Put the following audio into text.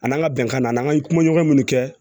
An n'an ka bɛnkan na an ye kumaɲɔgɔn minnu kɛ